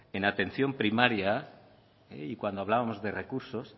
en atención primaria cuando hablábamos de recursos